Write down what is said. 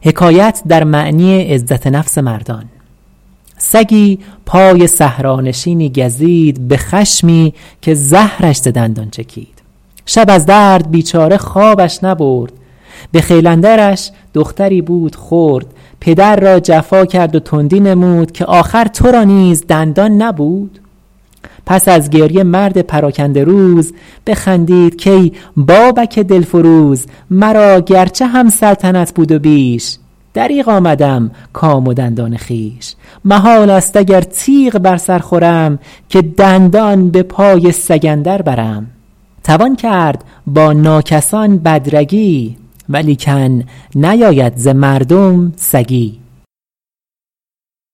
سگی پای صحرانشینی گزید به خشمی که زهرش ز دندان چکید شب از درد بیچاره خوابش نبرد به خیل اندرش دختری بود خرد پدر را جفا کرد و تندی نمود که آخر تو را نیز دندان نبود پس از گریه مرد پراکنده روز بخندید کای بابک دلفروز مرا گرچه هم سلطنت بود و بیش دریغ آمدم کام و دندان خویش محال است اگر تیغ بر سر خورم که دندان به پای سگ اندر برم توان کرد با ناکسان بد رگی ولیکن نیاید ز مردم سگی